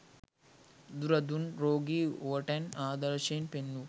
බුදුරදුන් රෝගී උවැටන් ආදර්ශයෙන් පෙන්වූ